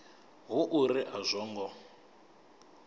hu uri a zwo ngo